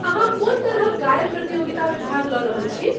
अहाँ कोन तरहक गायन प्रतियोगितामे भाग लऽ रहल छी?